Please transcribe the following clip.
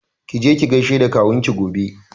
Ki je ki gaishe da kawun ki gobe!